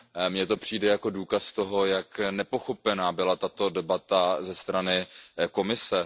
Mně to přijde jako důkaz toho, jak nepochopená byla tato debata ze strany Komise.